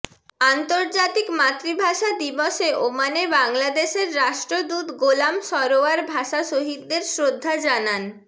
আন্তর্জাতিক মাতৃভাষা দিবসে ওমানে বাংলাদেশের রাষ্ট্রদূত গোলাম সরোয়ার ভাষাশহীদদের শ্রদ্ধা জানান